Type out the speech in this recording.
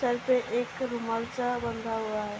Sir पे एक रूमाल सा बंधा हुआ हैं।